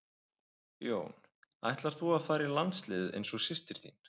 Jón: Ætlar þú að fara í landsliðið eins og systir þín?